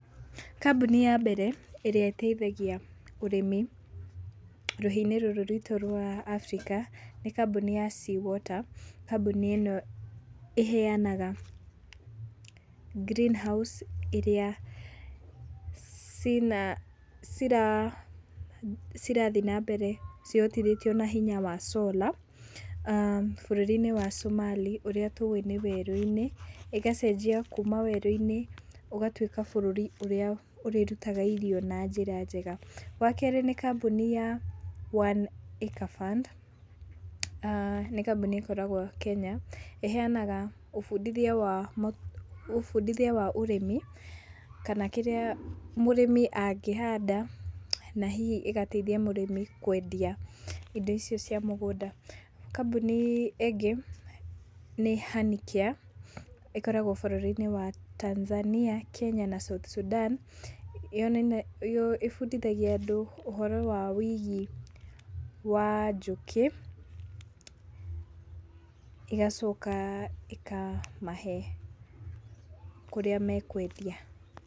Kambuni ya mbere ĩrĩa ĩteithagia ũrĩmi rũhĩa-inĩ rũrũ rwitũ rwa Africa, nĩ kambuni ya Sea water, kambuni ĩno iheanaga greenhouse irĩa cirathiĩ na mbere cihotithĩtio na hinya coora aah bũrũri-inĩ wa Somali ũrĩa tũwĩ nĩ werũ-inĩ, ĩgacenjia kuuma werũ-inĩ ũgatuĩka bũrũri ũrĩrutaga irio na njira njega. Wa kerĩ, nĩ kambuni ya One Acre Fund, nĩ kambuni ĩkoragwo Kenya ,ĩheanaga ũbundithia wa ũrĩmi kana kĩrĩa mũrĩmi angĩhanda na hihi ĩgateithia mũrĩmi kwendia indo icio cia mũgũnda. Kambuni ĩngĩ nĩ Honey Care, ĩkoragwo bũrũrĩ inĩ wa Tanzania, Kenya na South Sudan, ĩbundithagia andũ ũhoro wa wĩigi wa njũkĩ ĩgacoka ĩkamahe kũrĩa mekwendia.